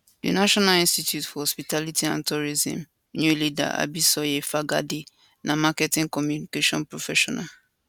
di national institute for hospitality and tourism new leader abisoye fagade na marketing communication professional